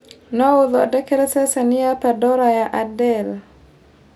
no ũthondekere ceceni ya pandora ya adele